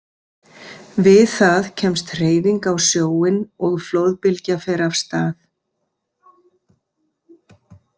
Við það kemst hreyfing á sjóinn og flóðbylgja fer af stað.